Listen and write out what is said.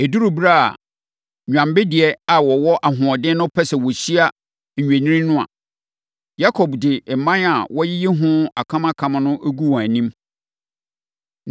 Ɛduru ɛberɛ a nnwammedeɛ a wɔwɔ ahoɔden no pɛ sɛ wɔhyia nnwennini no a, Yakob de mman a wayiyi ho akamakam no gu wɔn anim.